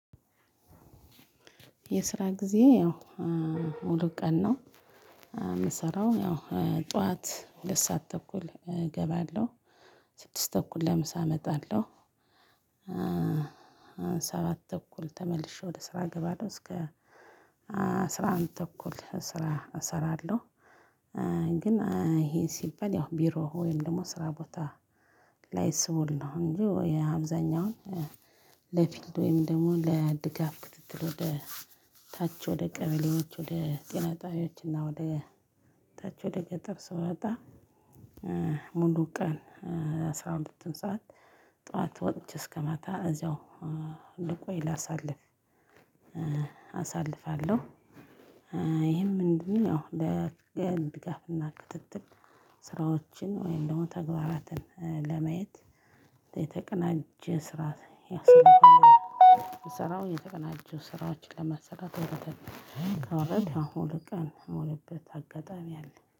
የስራ ጊዜ ያው እ ሙሉ ቀን ነው የምሰራው ያው እ ጠዋት ሁለት ስዓት ተኩል እ እገባለሁ ስድስት ተኩል ለምሳ እመጣለሁ። እ ሰባት ተኩል ተመልሼ ወደ ስራ እገባለሁ እስከ አስራ አንድ ተኩል ስራ እሰራለሁ። እ ግን እ ይሄ ሲበል ያው ቢሮ ወይም ደግሞ ስራ ቦታ ላይ ስውል ነው እንጂ የአብዛኛውን እ ለፊልድ ወይም ደግሞ ለድጋፍ ክትትል ወደ ታች ወደ ቀበሌዎች ወደ ጤና ጣቢያዎች እና ወደ ታች ወደ ገጠር ስወጣ እ ሙሉ ቀን አስራ ሁለት ሰዓት ጠዋት ወጥቼ እስከማታ እዛው እ ልቆይ ላሳልፍ እ አሳልፋለሁ። እ ይሄም ምንድነው? እ ለ ድጋፍና ክትትል ስራዎችን ወይም ደግሞ ተግባራትን እ ለማየት የተቀናጀ ስራ ያሰማናል። የሰራው የተቀናጀው ስራዎችን ለመሰራት ወደ ታች ከወርድን ያው ሁለት ቀን የምዉልበት አጋጣሚ አለ